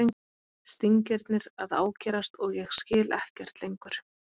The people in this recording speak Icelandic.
Stingirnir að ágerast og ég skil ekkert lengur.